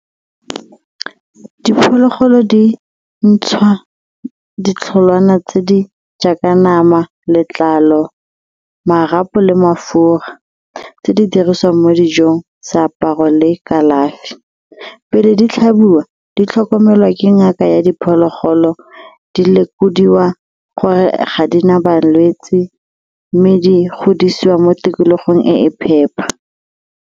Diphologolo di ntshiwa ditholwana tse di jaaka nama, letlalo, marapo le mafura tse di dirisiwang mo dijong, seaparo le kalafi. Pele di tlhabiwa di tlhokomelwa ke ngaka ya diphologolo, di lekodiwa gore ga di na malwetse mme di godisiwa mo tikologong e e phepa.